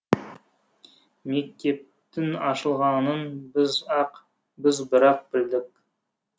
мектептің ашылғанын біз бір ақ білдік